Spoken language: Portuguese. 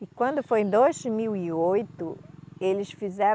E quando foi em dois mil e oito, eles fizeram